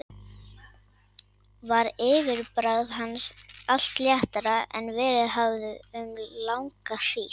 Var yfirbragð hans allt léttara en verið hafði um langa hríð.